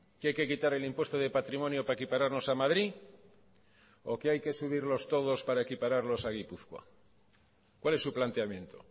que hay que quitar el impuesto de patrimonio para equipararnos a madrid o que hay que subirlos todos para equipararlos a gipuzkoa cuál es su planteamiento